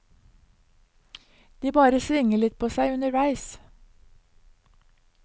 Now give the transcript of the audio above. De bare svinger litt på seg underveis.